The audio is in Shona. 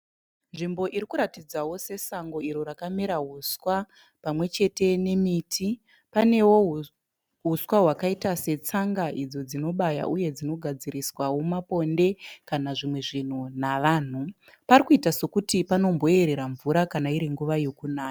Nzvimbo irikuratidza sesango iro rakamera huswa pamwechete nemiti . Panewo huswa wakaita setsanga idzo dzinobaya , uye dzinogadziriswawo maponde kana zvimwe zvinhu navanhu . Pari kuita sekuti panomboyerera mvura kana iri nguva yekunaya.